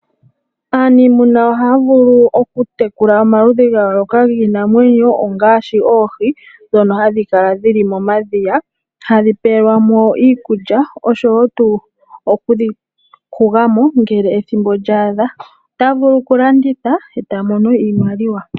Aanimuna ohaya vulu okutekula omaludhi ga yooloka giinamwenyo ngaashi oohi ndhono hadhi kala dhili momadhiya hadhi peelwa mo iikulya oshowo tuu okudhi huga mo ngele ethimbo lya adha nota vulu okulanditha e ta mono iimaliwa.